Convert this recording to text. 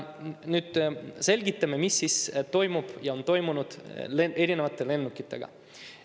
Nüüd selgitan, mis toimub ja on toimunud erinevate lennukitega.